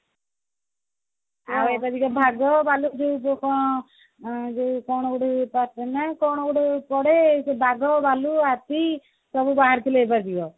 ଆଉ ଏବେ ଟିକେ ବାଘ ଭାଲୁ ଯୋଉ ଯୋଉ କଣ ଗୋଟେ ପଡେ ଯୋଉ ବାଘ ଭାଲୁ ହାତୀ ସବୁ ବାହାରି ଥିଲେ ଏଇଥରକ